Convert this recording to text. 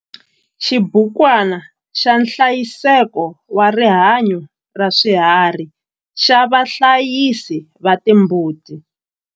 Xibukwana xa nhlayiseko wa rihanyo ra swiharhi xa vahlayisi va timbuti.